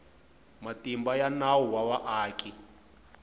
matimba ya nawu wa vaaki